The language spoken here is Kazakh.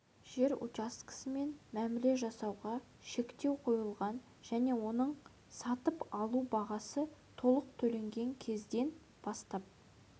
жер учаскесімен мәміле жасасуға шектеу қойылған және оның сатып алу бағасы толық төленген кезден бастап